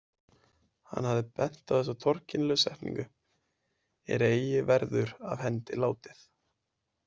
Hann hafði bent á þessa torkennilegu setningu „er eigi verður af hendi látið“.